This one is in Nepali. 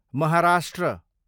महाराष्ट्र